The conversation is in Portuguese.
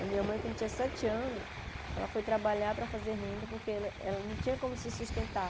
A minha mãe, quando tinha sete anos, ela foi trabalhar para fazer renda porque ela ela não tinha como se sustentar.